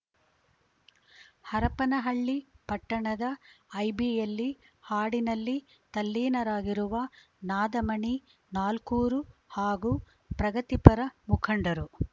ಹರಪನಹಳ್ಳಿ ಪಟ್ಟಣದ ಐಬಿಯಲ್ಲಿ ಹಾಡಿನಲ್ಲಿ ತಲ್ಲೀನರಾಗಿರುವ ನಾದಮಣಿ ನಾಲ್ಕೂರು ಹಾಗೂ ಪ್ರಗತಿಪರ ಮುಖಂಡರು